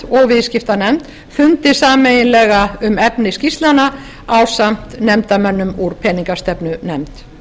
og viðskiptanefnd fundi sameiginlega um efni skýrslnanna ásamt nefndarmönnum úr peningastefnunefnd þá